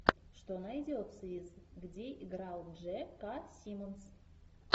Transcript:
что найдется из где играл дже ка симмонс